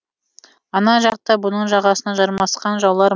ана жақта бұның жағасына жармасқан жаулар